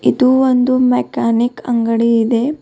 ಇದು ಒಂದು ಮೆಕಾನಿಕ್ ಅಂಗಡಿ ಇದೆ.